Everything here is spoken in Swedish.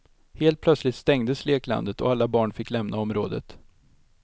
Helt plötsligt stängdes leklandet och alla barn fick lämna området.